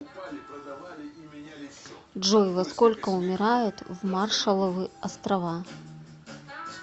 джой во сколько умирают в маршалловы острова